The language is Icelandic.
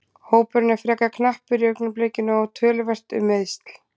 Hópurinn er frekar knappur í augnablikinu og töluvert um meiðsl.